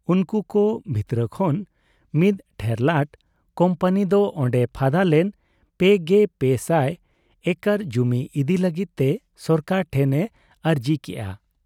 ᱩᱱᱠᱩ ᱠᱚ ᱵᱷᱤᱛᱨᱟᱹ ᱠᱷᱚᱱ ᱢᱤᱫ ᱴᱷᱮᱨᱞᱟᱴ ᱠᱩᱢᱯᱟᱹᱱᱤ ᱫᱚ ᱚᱱᱰᱮ ᱯᱷᱟᱫᱟ ᱞᱮᱱ ᱓᱓᱐᱐ ᱮᱠᱚᱨ ᱡᱩᱢᱤ ᱤᱫᱤ ᱞᱟᱹᱜᱤᱫ ᱛᱮ ᱥᱚᱨᱠᱟᱨ ᱴᱷᱮᱱ ᱮ ᱟᱨᱹᱡᱤ ᱠᱮᱜ ᱟ ᱾